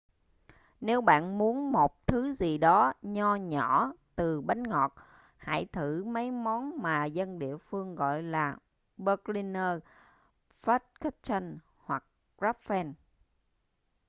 nếu bạn muốn một thứ gì đó nho nhỏ từ bánh ngọt hãy thử mấy món mà dân địa phương gọi là berliner pfannkuchen hoặc krapfen